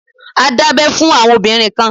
A dábẹ fún àwọn obìnrin kan.